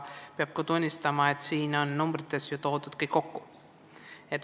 Peab ka tunnistama, et tegemist on koondandmetega.